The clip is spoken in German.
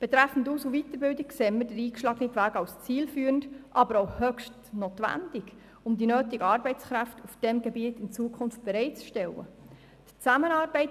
Betreffend Aus- und Weiterbildung erachten wir den eingeschlagenen Weg als zielführend, aber auch höchst notwendig, um die nötigen Arbeitskräfte in diesem Bereich in Zukunft bereitstellen zu können.